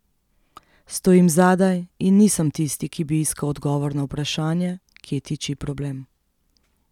Stojim zadaj in nisem tisti, ki bi iskal odgovor na vprašanje, kje tiči problem.